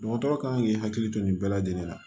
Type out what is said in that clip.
Dɔgɔtɔrɔ kan k'i hakili to nin bɛɛ lajɛlen la